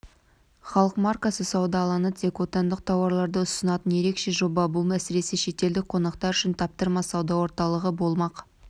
халық маркасы сауда алаңы тек отандық тауарларды ұсынатын ерекше жоба бұл әсіресе шетелдік қонақтар үшін таптырмас сауда орталығы болмақ